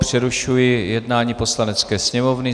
Přerušuji jednání Poslanecké sněmovny.